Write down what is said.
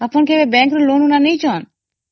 ଆପଣ କେବେ bank ରୁ loan ନେଇଛନ୍ତି